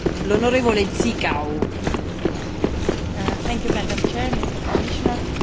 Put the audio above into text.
Îmbătrânirea populației determină creșterea cererii privind serviciile de îngrijire la domiciliu.